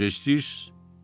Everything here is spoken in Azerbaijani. Necə istəyirsiz?